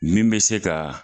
Min be se kaa